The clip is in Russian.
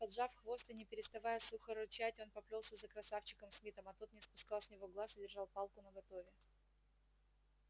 поджав хвост и не переставая сухо рычать он поплёлся за красавчиком смитом а тот не спускал с него глаз и держал палку наготове